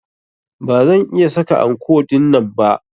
Ba zan iya saka anko dinnan ba.